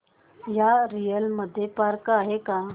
या एरिया मध्ये पार्क आहे का